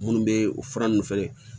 Minnu bɛ fura ninnu fɛnɛ